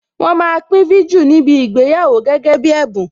Wọn máa pín viju níbi ìgbéyàwó gẹ́gẹ́ bí ẹ̀bùn.